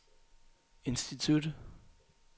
institut